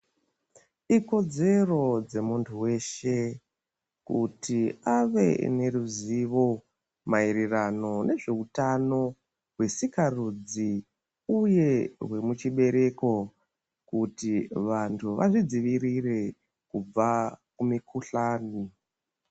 Ikodzero dzemuntu weshe kuti ave neruzivo mayererano nezve utano hwesikarudzi uye muchibereko kuti vantu vazvidzivirire kubva kumikhuhlane.